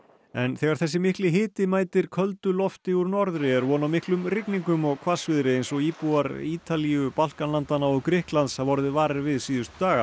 en þegar þessi mikli hiti mætir köldu lofti úr norðri er von á miklum rigningum og hvassviðri eins og íbúar Ítalíu Balkanlandanna og Grikklands hafa orðið varir við síðustu daga